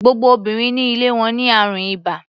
Gbogbo obìnrin ní ilé wọn ní àrùn ibà.